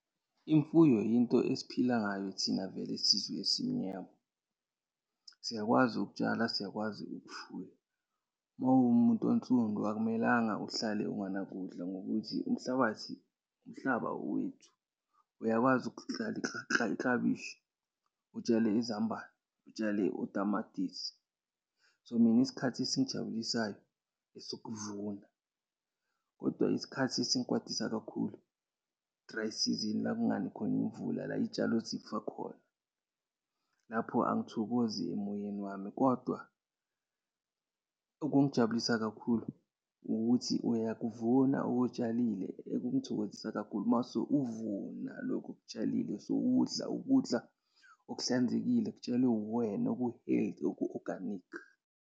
Imfuyo yinto esiphila ngayo thina vele sizwe esimnyama. Siyakwazi ukutshala, siyakwazi ukufuya. Uma uwumuntu onsundu, akumelanga uhlale unganakudla ngokuthi umhlabathi, umhlaba owethu. Uyakwazi iklabishi, utshale izambane, utshale utamatisi. So mina, isikhathi esingijabulisayo, esokuvuna kodwa isikhathi esingikwatisa kakhulu, dry season la okungani khona imvula, la iy'tshalo zifa khona. Lapho, angithokozi emoyeni wami, kodwa okungijabulisa kakhulu ukuthi uyakuvuna okutshalile. Ekungithokozisa kakhulu mase uvuna lokhu okutshalile sewudla ukudla okuhlanzekile, kutshalwe wuwena, oku-healthy, oku-oganikhi.